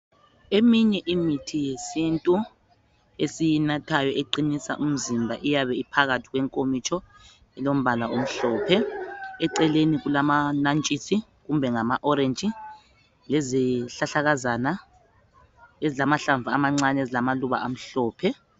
Iminye imithi yesintu esiyinathayo eqinisa umzimba iyawe iphakathi kwenkomitsho, ilombala omhlphe. Eceleni lamanyatshisi kumbe ama oreji lezihlahlakazana ezilamahlamvu amancane, ezilamaluba amhlophe.